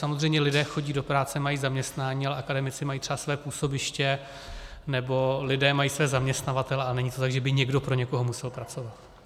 Samozřejmě lidé chodí do práce, mají zaměstnání, ale akademici mají třeba své působiště, nebo lidé mají své zaměstnavatele, a není to tak, že by někdo pro někoho musel pracovat.